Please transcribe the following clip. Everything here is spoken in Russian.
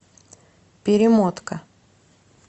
перемотка